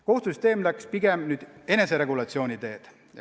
Kohtusüsteem läks pigem eneseregulatsiooni teed.